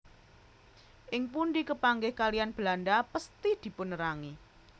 Ing pundi kepanggih kaliyan Belanda pesthi dipunerangi